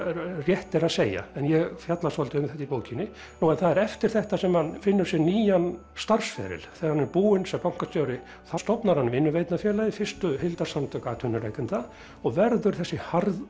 rétt er að segja en ég fjalla svolítið um þetta í bókinni nú það er eftir þetta sem hann finnur sér nýjan starfsferil þegar hann er búinn sem bankastjóri þá stofnar hann vinnuveitendafélagið fyrstu heildarsamtök atvinnurekenda og verður þessi